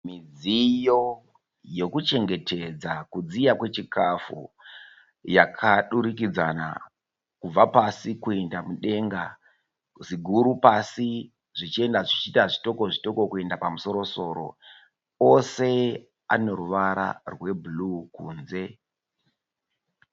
Midziyo yokuchengetedza kudziya kwechikafu yakadurikidzana kubva pasi kuenda mudenga, ziguru pasi zvichienda zvichiita zvitoko zvitoko kuenda pamusoro-soro. Ose ane ruvara rwebhuruu kunze.